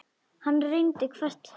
Hann reyndi hvert hennar orð.